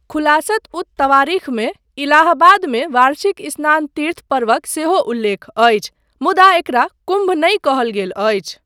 खुलासत उत तवारीखमे इलाहाबादमे वार्षिक स्नान तीर्थ पर्वक सेहो उल्लेख अछि, मुदा एकरा कुम्भ नहि कहल गेल अछि।